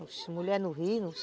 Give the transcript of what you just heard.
Oxe, mulher no rio?